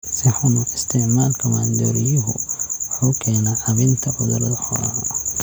Si xun u isticmaalka maandooriyuhu wuxuu keenaa caabbinta cudurada xoolaha.